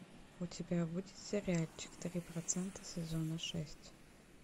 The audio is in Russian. у тебя будет сериальчик три процента сезона шесть